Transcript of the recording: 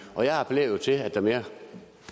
og jeg appellerer til at der mere